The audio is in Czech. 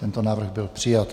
Tento návrh byl přijat.